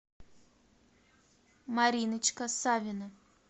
мариночка савина